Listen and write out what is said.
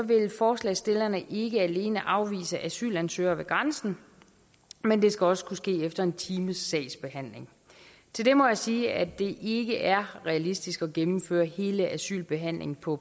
vil forslagsstillerne ikke alene afvise asylansøgere ved grænsen men ønsker også kunne ske efter en times sagsbehandling til det må jeg sige at det ikke er realistisk at gennemføre hele asylbehandlingen på